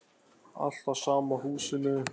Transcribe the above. Alltaf sama húsinu.